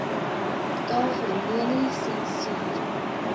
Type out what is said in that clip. tavernelisensier